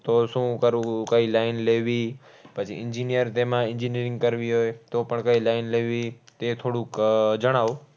તો શું કરવું? કઈ line લેવી? પછી engineer તેમાં engineering કરવી હોય તો પણ કઈ line લેવી? તે થોડુંક આહ જણાવો.